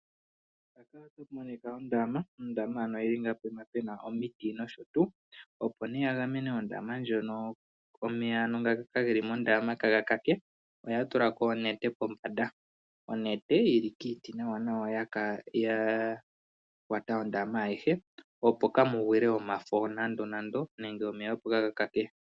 ohaku monika eendama ,ondama ano yili ngaa poima pena omiti nosho tuu, opo nee yagemene ondama ndjono , omeya ano nga geli mondama kaagakake ohaatulako onete kombanda, onete yili kiiti nawa nawa ya kwata ondama ayihe opo kamugwile omafo nando nando nenge omeya opo kaa gakake .